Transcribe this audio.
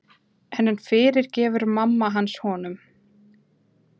En fyrirgefur mamma hans honum?